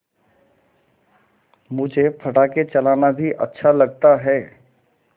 मुझे पटाखे चलाना भी अच्छा लगता है